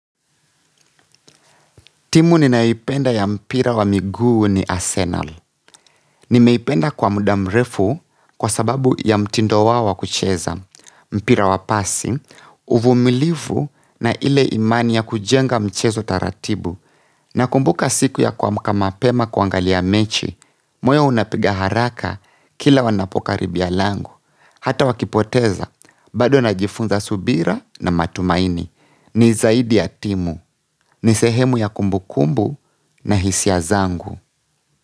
Timu ninayoipenda ya mpira wa miguu ni Arsenal. Nimeipenda kwa muda mrefu kwa sababu ya mtindo wao wa kucheza. Mpira wa passing, uvumilifu na ile imani ya kujenga mchezo taratibu. Nakumbuka siku ya kuamka mapema kuangalia mechi. Moyo unapiga haraka kila wanapokaribia lango hata wakipoteza, bado na jifunza subira na matumaini. Ni zaidi ya timu. Ni sehemu ya kumbu kumbu na hisia zangu.